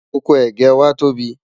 ọkọ̀ ẹgẹ wà tó bí